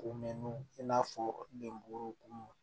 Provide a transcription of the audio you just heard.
O mɛnniw i n'a fɔ denboro